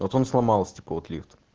вот он сломался типа вот лифт